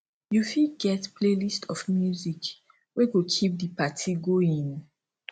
you fitget playlist of music wey go keep di party going